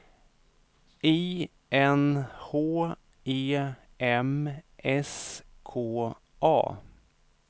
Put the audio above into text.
I N H E M S K A